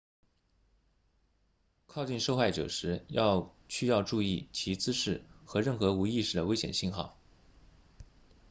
靠近受害者时需要注意其姿势和任何无意识的危险信号